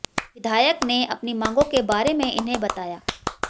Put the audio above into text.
विधायक ने अपनी मांगों के बारे में इन्हें बताया